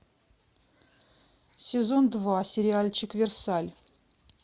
сезон два сериальчик версаль